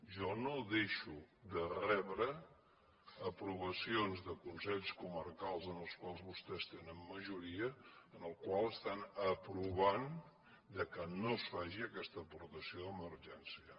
jo no deixo de rebre aprovacions de consells comarcals en els quals vostès tenen majoria en les quals estan aprovant que no es faci aquesta aportació d’emergència